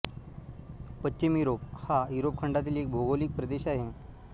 पश्चिम युरोप हा युरोप खंडातील एक भौगोलिक प्रदेश आहे